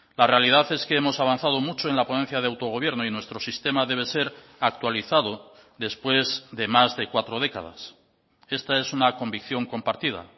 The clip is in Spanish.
la realidad es que hemos avanzado mucho en la ponencia de autogobierno y nuestro sistema debe ser actualizado después de más de cuatro décadas esta es una convicción compartida